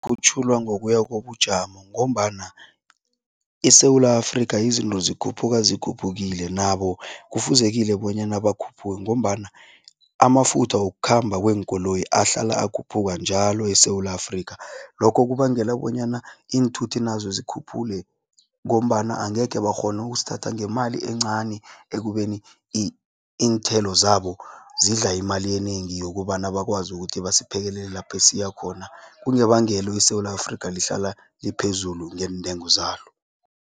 ngokuya kobujamo ngombana iSewula Afrika izinto zikhuphuka zikhuphukile, nabo kufuzekile bonyana bakhuphuke ngombana amafutha wokukhamba kweenkoloyi ahlala akhuphuka njalo eSewula Afrika. Lokho kubangela bonyana iinthuthi nazo zikhuphule ngombana angeke bakghone ukusithatha ngemali encani ekubeni iinthelo zabo zidla imali enengi yokobana bakwazi ukuthi basiphekelele lapho siya khona, kungebangelo iSewula Afrika lihlala liphezulu ngeentengo zalo.